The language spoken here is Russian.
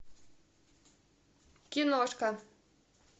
киношка